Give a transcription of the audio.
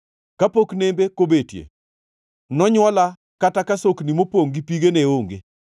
Kapok nembe kobetie, nonywola kata ka sokni mopongʼ gi pi ne onge.